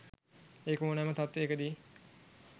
ඒක ඕනෑම තත්ත්වයකදි